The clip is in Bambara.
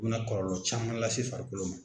U bɛna kɔlɔlɔ caman lase. farikolo ma.